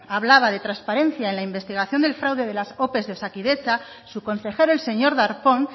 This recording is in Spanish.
hablaba de transparencia en la investigación del fraude de las ope de osakidetza su consejero el señor darpón